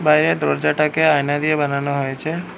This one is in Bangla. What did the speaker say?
বাইরে দরজাটাকে আয়না দিয়ে বানানো হয়েছে।